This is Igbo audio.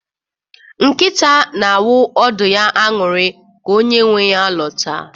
Nkịta na-awụ ọdụ ya aṅụrị ka onye nwe ya lọta.